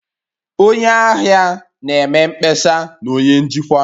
Onye ahịa na-eme mkpesa na onye njikwa